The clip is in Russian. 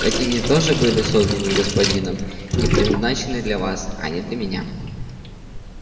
ведь они тоже были созданы господином и предназначены для вас а не для меня